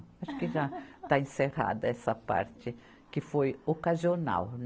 Acho que já está encerrada essa parte que foi ocasional.